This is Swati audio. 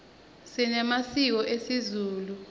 sinemasiko esizulu